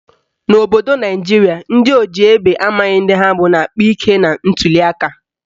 N'obodo Naijiria, ndị oji egbe amaghị ndị ha bụ na-akpa ike na ntuliaka